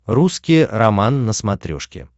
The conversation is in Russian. русский роман на смотрешке